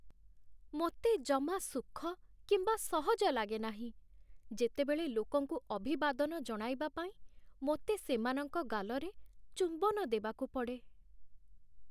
ମୋତେ ଜମା ସୁଖ କିମ୍ବା ସହଜ ଲାଗେନାହିଁ, ଯେତେବେଳେ ଲୋକଙ୍କୁ ଅଭିବାଦନ ଜଣାଇବା ପାଇଁ ମୋତେ ସେମାନଙ୍କ ଗାଲରେ ଚୁମ୍ବନ ଦେବାକୁ ପଡ଼େ।